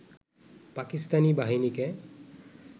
পাকিস্তানি বাহিনীকে